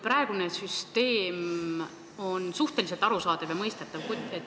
Praegune süsteem on suhteliselt arusaadav ja mõistetav.